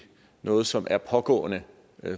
noget som er pågående